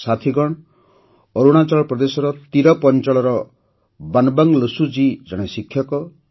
ସାଥିଗଣ ଅରୁଣାଚଳ ପ୍ରଦେଶ ତିରପ ଅଞ୍ଚଳର ବନବଙ୍ଗ ଲୋସୁଜୀ ଜଣେ ଶିକ୍ଷକ